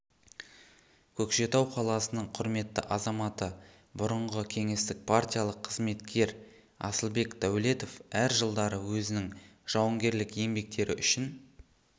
көкшетау қаласының құрметті азаматы бұрынғы кеңестік партиялық қызметкер асылбек дәулетов әр жылдары өзінің жауынгерлік еңбектері үшін